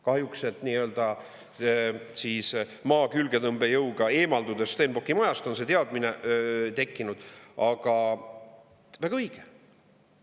Kahjuks, et n-ö Maa külgetõmbejõuga eemalduda Stenbocki majast, on see teadmine tekkinud, aga väga õige.